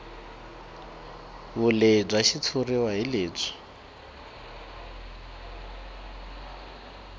vulehi bya xitshuriwa hi lebyi